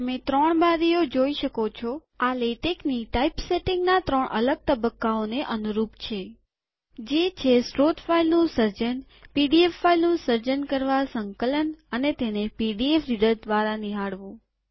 તમે ત્રણ બારીઓ જોઈ શકો છો આ લેટેકની ટાઈપસેટિંગના ત્રણ અલગ તબક્કાઓને અનુરૂપ છે જે છે સ્ત્રોત ફાઈલનું સર્જન પીડીએફ ફાઈલનું સર્જન કરવા સંકલન અને તેને પીડીએફ રીડર દ્વારા નિહાળવું